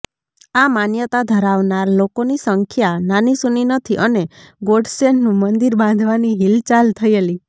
આ માન્યતા ધરાવનાર લોકોની સંખ્યા નાનીસૂની નથી અને ગોડસેનું મંદિર બાંધવાની હિલચાલ થયેલી